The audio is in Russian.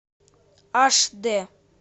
аш дэ